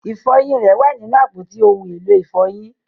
Ifọyin rẹ wà ninu apọti ohun elo ifọyin.